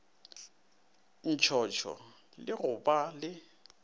ntshotsho le go ba le